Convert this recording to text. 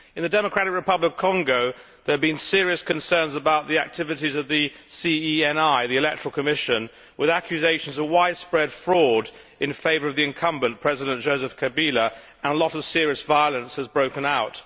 In the Democratic Republic of Congo, there have been serious concerns about the activities of the CENI, the electoral commission, with accusations of widespread fraud in favour of the incumbent, President Joseph Kabila, and a lot of serious violence has broken out.